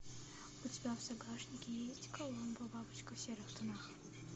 у тебя в загашнике есть коломбо бабочка в серых тонах